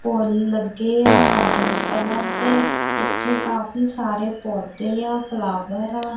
ਫੁੱਲ ਲੱਗੇ ਆ orange colour ਦੇ ਪਿੱਛੇ ਕਾਫੀ ਸਾਰੇ ਪੌਦੇ ਆ ਫਲਾਵਰ ਆ।